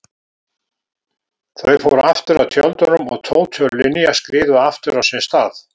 Þau fóru aftur að tjöldunum og Tóti og Linja skriðu aftur á sinn stað.